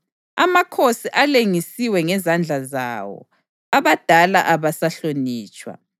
Amakhosi alengisiwe ngezandla zawo; abadala abasahlonitshwa.